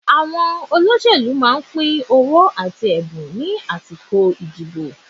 Àwọn olóṣèlú máa ń pín owó àti ẹ̀bùn ní àsìkò ìdìbò.